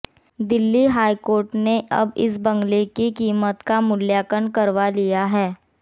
Delhi high court ने अब इस बंगले की कीमत का मूल्यांकन करवा लिया है